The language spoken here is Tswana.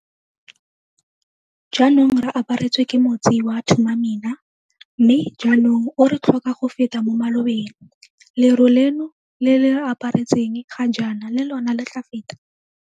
Jaanong re aparetswe ke motsi wa Thuma Mina, mme jaanong o re tlhoka go feta mo malobeng. Leru leno le le re aparetseng ga jaana le lona le tla feta.